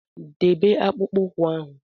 Debe akpụkpọ ụkwụ ahụ!